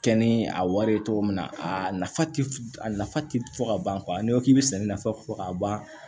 Kɛ ni a wari ye cogo min na a nafa ti a nafa ti fɔ ka ban n'i ko k'i bɛ sɛnɛ nafa fɔ ka ban